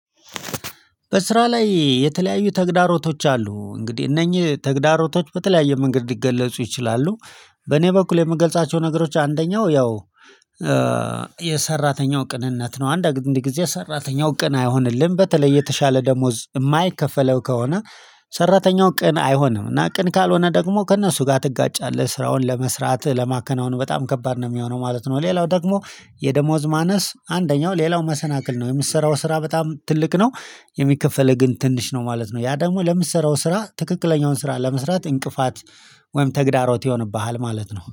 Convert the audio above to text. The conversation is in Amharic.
በስራ ላይ የተለያዩ ተግዳሮቶች አሉ እንግዲህ እነኚህ ተግዳሮቶች በተለያየ መንገድ ሊገለጹ ይችላሉ። በኔ በኩል የምገልጻቸው ነገሮች አንደኛው ያው የሰራተኛው ቅንነት ነው። አንድ አንድ ጊዜ ሰራተኛው ቅን አይሆንልን በተለይ የተሻለ ደሞዝ የማይከፈለው ከሆነ። ሰራተኛው ቅን አይሆንም እና ቅን ካልሆነ ደግሞ ከእነሱ ጋር ትጋጫለህ ስራውን ለመስራት ለማከናወኑ በጣም ከባድ ነው የሚሆነው ማለት ነው። ሌላው ደግሞ የደሞዝ ማነስ አንደኛው ሌላው መሰናክል ነው የምትሰራው ስራ በጣም ትልቅ ነው። የሚከፈለው ግን ትንሽ ነው ማለት ነው። ያ ደግሞ ለምትሰራው ስራ ትክክለኛውን ስራ ለመስራት እንቅፋት ወይም ተግዳሮት ይሆንብሃል ማለት ነው